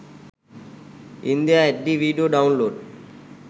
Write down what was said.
india hd video download